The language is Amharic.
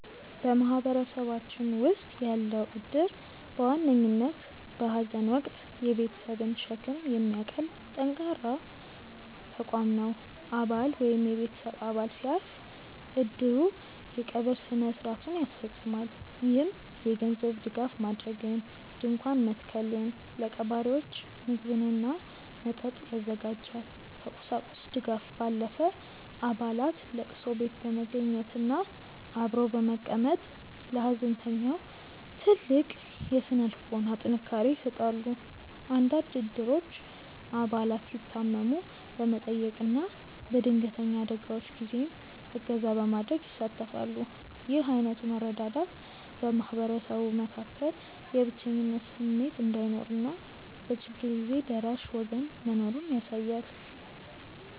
በማህበረሰባችን ውስጥ ያለው እድር በዋነኝነት በሐዘን ወቅት የቤተሰብን ሸክም የሚያቀል ጠንካራ ተቋም ነው። አባል ወይም የቤተሰብ አባል ሲያርፍ፣ እድሩ የቀብር ሥነ ሥርዓቱን ያስፈፅማል። ይህም የገንዘብ ድጋፍ ማድረግን፣ ድንኳን መትከልን፣ ለቀባሪዎች ምግብና መጠጥ ያዘጋጃል። ከቁሳቁስ ድጋፍ ባለፈ፣ አባላት ለቅሶ ቤት በመገኘትና አብሮ በመቀመጥ ለሐዘንተኛው ትልቅ የሥነ ልቦና ጥንካሬ ይሰጣሉ። አንዳንድ እድሮች አባላት ሲታመሙ በመጠየቅና በድንገተኛ አደጋዎች ጊዜም እገዛ በማድረግ ይሳተፋሉ። ይህ ዓይነቱ መረዳዳት በማህበረሰቡ መካከል የብቸኝነት ስሜት እንዳይኖርና በችግር ጊዜ ደራሽ ወገን መኖሩን ያሳያል።